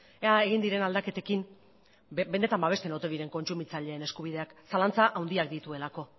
ea egin diren aldaketekin benetan babesten ote diren kontsumitzaileen eskubideak zalantza handiak dituelako